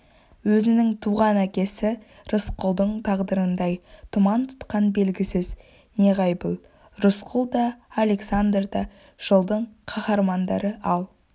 өзінің туған әкесі рысқұлдың тағдырыңдай тұман тұтқан белгісіз неғайбыл рысқұл да александр да жылдың қаһармандары ал